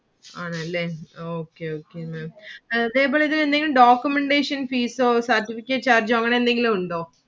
ആണ് അല്ലെ Okay Okay Maám. ഇതേപോലെ എന്തെങ്കിലും Documentation fees ഓ Certificate charge ഓ അങ്ങനെ എന്തെങ്കിലും ഉണ്ടോ?